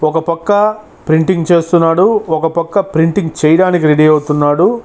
ఒక పక్క ప్రింటింగ్ చేస్తున్నాడు. ఒక పక్క ప్రింటింగ్ చేయడానికి రెడీ అవుతున్నాడు.